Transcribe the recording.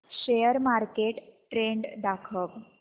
share market trend दाखव